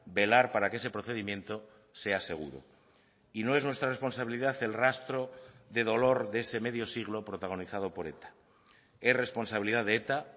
velar para que ese procedimiento sea seguro y no es nuestra responsabilidad el rastro de dolor de ese medio siglo protagonizado por eta es responsabilidad de eta